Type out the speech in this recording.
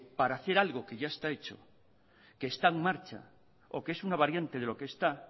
para hacer algo que ya está hecho que está en marcha o que es una variante de lo que está